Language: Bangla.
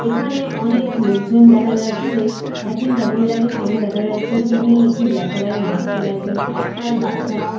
এখানে অনেক লোকজন দেখা যাচ্ছে একজন ভদ্রমহিলাকে সামনে দেখা যাচ্ছে তিনি একটি ব্ল্যাক কালার -এর মাস্ক পরে আছেন একটা বাচ্চাও--